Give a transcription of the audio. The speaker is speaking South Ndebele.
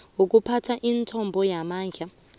wokuphatha imithombo yamandla